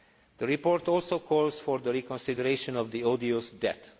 The report also calls for the reconsideration of odious debt.